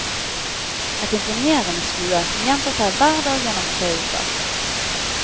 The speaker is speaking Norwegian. Et imponerende skue som gjentar seg hver dag gjennom tre uker.